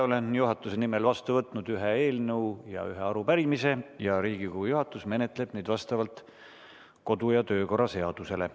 Olen juhatuse nimel vastu võtnud ühe eelnõu ja ühe arupärimise ning Riigikogu juhatus menetleb neid vastavalt kodu- ja töökorra seadusele.